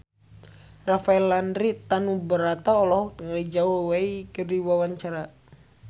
Rafael Landry Tanubrata olohok ningali Zhao Wei keur diwawancara